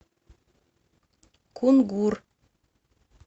кунгур